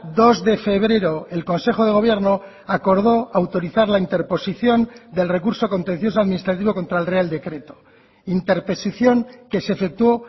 dos de febrero el consejo de gobierno acordó autorizar la interposición del recurso contencioso administrativo contra el real decreto interposición que se efectuó